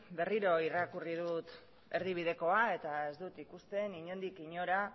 berriro irakurri dut erdibidekoa eta ez dut ikusten inondik inora